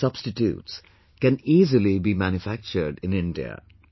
Their substitutes can easily be manufactured in India